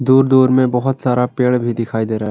दूर दूर में बहोत सारा पेड़ भी दिखाई दे रहा--